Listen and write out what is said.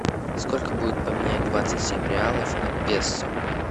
сколько будет поменять двадцать семь реалов на песо